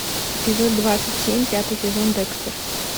эпизод двадцать семь пятый сезон декстер